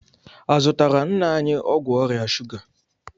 A zụtaara nna anyị ọgwụ ọrịa shuga?